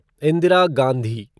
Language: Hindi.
इंदिरा गांधी